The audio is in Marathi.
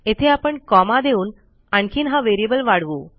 येथे आपण कॉमा देऊन आणखीन हा व्हेरिएबल वाढवू